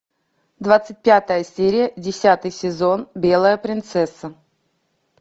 двадцать пятая серия десятый сезон белая принцесса